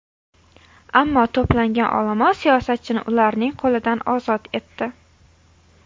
Ammo to‘plangan olomon siyosatchini ularning qo‘lidan ozod etdi.